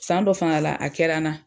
San dɔ fana la a kɛra na